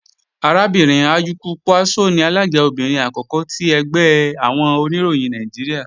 Arábìnrin Ayuku Pwaspo ni alága obìnrin àkọ́kọ́ ti ẹgbẹ́ àwọn Oníròyìn Nàìjíríà